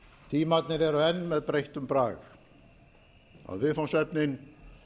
tímarnir eru enn með breyttum brag að viðfangsefnin